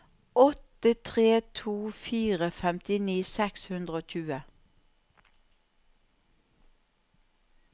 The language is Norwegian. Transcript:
åtte tre to fire femtini seks hundre og tjue